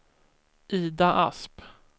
Ida Asp